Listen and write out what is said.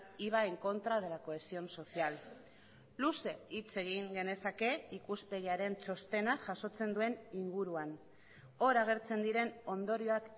y va en contra de la cohesión social luze hitz egin genezake ikuspegiaren txostenak jasotzen duen inguruan hor agertzen diren ondorioak